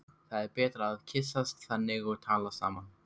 Það er betra að kyssast þannig og tala saman.